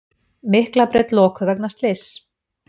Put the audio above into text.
Miklabraut lokuð vegna slyss